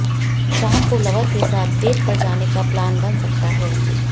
शाम को लवर के साथ डेट पर जाने का प्लान बन सकता है